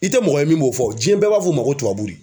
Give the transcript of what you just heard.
I tɛ mɔgɔ ye min b'o fɔ o jiyɛn bɛɛ b'a fɔ o ma ko tubabuw.